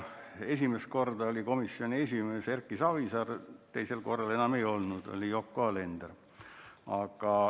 Esimesel korral oli komisjoni esimees Erki Savisaar, teisel korral enam ei olnud, esimees oli siis Yoko Alender.